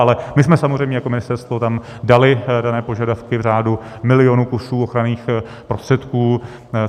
Ale my jsme samozřejmě jako ministerstvo tam dali dané požadavky v řádu milionů kusů ochranných prostředků.